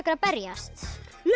að berjast